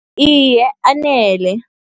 Iye, anele.